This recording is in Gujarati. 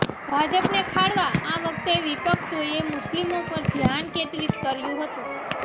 ભાજપને ખાળવા આ વખતે વિપક્ષોએ મુસ્લિમો પર ધ્યાન કેદ્રિત કર્યું હતું